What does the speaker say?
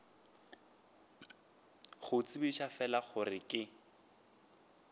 go tsebiša fela gore ke